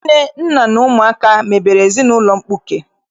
Nne, nna na ụmụaka mebere ezinaụlọ mkpuke.